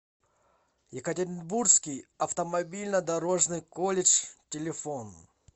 екатеринбургский автомобильно дорожный колледж телефон